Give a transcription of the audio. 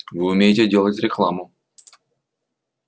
вы умеете делать рекламу